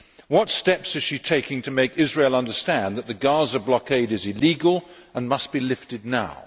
What steps is she taking to make Israel understand that the Gaza blockade is illegal and must be lifted now?